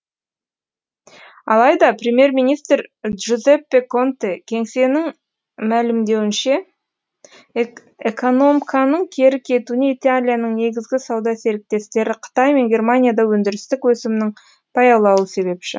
алайда премьер министр джузеппе конте кеңесінің мәлімдеуінше экономканың кері кетуіне италияның негізгі сауда серіктестері қытай мен германияда өндірістік өсімнің баяулауы себепші